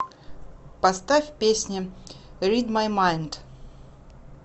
поставь песня рид май майнд